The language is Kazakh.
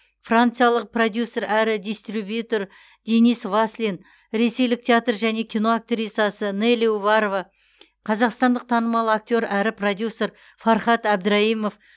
франциялық продюсер әрі дистрибьютер денис васлин ресейлік театр және кино актрисасы нелли уварова қазақстандық танымал актер әрі продюсер фархат әбдірайымов